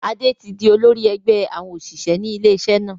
Adé tí di olórí ẹgbẹ́ àwọn òṣìṣẹ́ ilé iṣẹ́ náà.